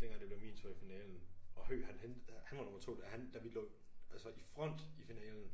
dengang det blev min tur i finalen og Høg han hentede han var nummer 2 da han da vi lå altså i front i finalen